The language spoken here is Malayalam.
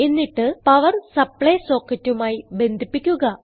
എന്നിട്ട് പവർ സപ്ലൈ socketമായി ബന്ധിപ്പിക്കുക